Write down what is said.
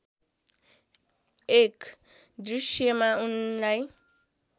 एक दृश्यमा उनलाई